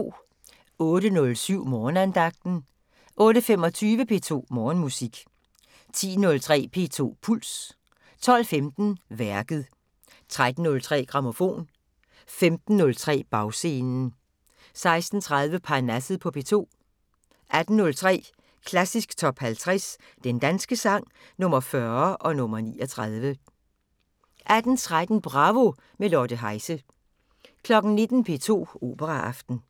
08:07: Morgenandagten 08:25: P2 Morgenmusik 10:03: P2 Puls 12:15: Værket 13:03: Grammofon 15:03: Bagscenen 16:30: Parnasset på P2 18:03: Klassisk Top 50 Den danske sang – Nr. 40 og nr. 39 18:13: Bravo – med Lotte Heise 19:00: P2 Operaaften